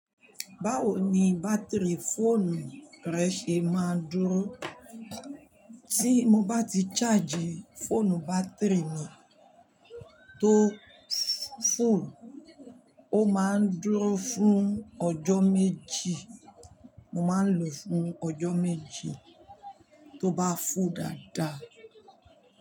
Báwo ni bátìrì fóònù rẹ ṣe máa ń dúró? Tí mo bá ti charge fóònù bátìrì mi tó full, ó máa ń dúró fún ọjọ́ méjì. Mo máa ń lo fún ọjọ́ méjì tó bá full dáadáa.